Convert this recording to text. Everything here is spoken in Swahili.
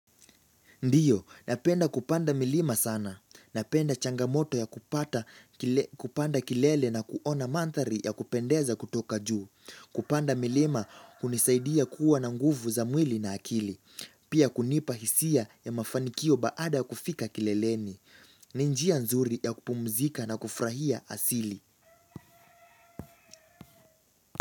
Ndiyo, napenda kupanda milima sana. Napenda changamoto ya kupanda kilele na kuona mandhari ya kupendeza kutoka juu. Kupanda milima hunisaidia kuwa na nguvu za mwili na akili. Pia kunipa hisia ya mafanikio baada kufika kileleni. Ni njia nzuri ya kupumzika na kufurahia asili.